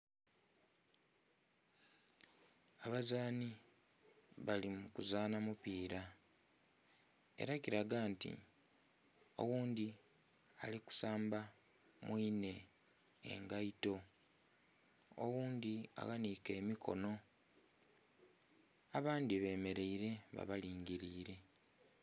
Abazaanhi bali mu kuzaanha mupiira ela kilaga nti oghundhi ali kusamba mwinhe engaito, oghundhi aghanhike emikonho abandhi bemeleile ba balingiliile.